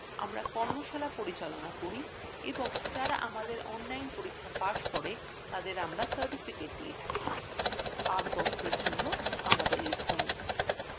আমরা কর্মশালা পরিচালনা করি এবং যারা আমাদের online পরীক্ষা pass করে তাদের আমরা certificates দিয়ে থাকি আরো তথ্যের জন্য আমাদের লিখুন